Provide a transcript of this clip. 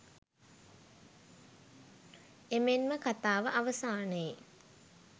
එමෙන්ම කථාව අවසානයේ